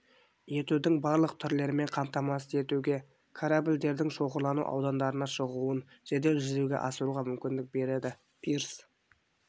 етудің барлық түрлерімен қамтамасыз етуге корабльдердің шоғырлану аудандарына шығуын жедел жүзеге асыруға мүмкіндік береді пирс